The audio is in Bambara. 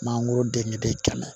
Mangoro den ɲɛ bɛ kɛmɛ